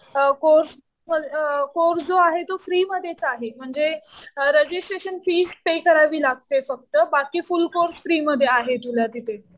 Course, course जो आहे तो फ्री मध्येच आहे म्हणजे रजिस्ट्रेशन फीस पे करावी लागते फक्त. बाकी फुल कोर्स फ्री मध्ये आहे तुला तिथे.